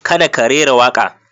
Kada ka rera waƙa.